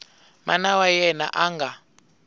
mana wa yena a nga